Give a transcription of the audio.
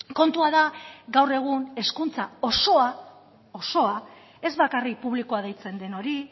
kontua da gaur egun hezkuntza osoa osoa ez bakarrik publikoa deitzen den hori